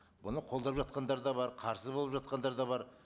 бұны қолдап жатқандар да бар қарсы болып жатқандар да бар